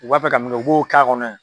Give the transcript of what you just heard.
U b'a fɛ ka mun kɛ u b'o k'a kɔnɔ ye.